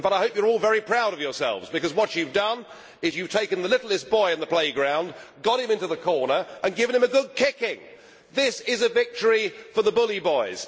In fact, I hope you are all very proud of yourselves because what you have done is you have taken the littlest boy in the playground, got him into the corner and given him a good kicking. This is a victory for the bully boys